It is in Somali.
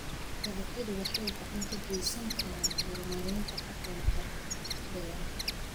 Dalagyadu waxay gacan ka geysan karaan horumarinta dhaqanka beeraha.